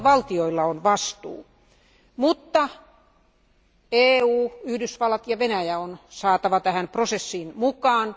Alueen valtioilla on vastuu, mutta EU, Yhdysvallat ja Venäjä on saatava tähän prosessiin mukaan.